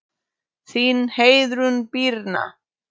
Þín Heiðrún Birna.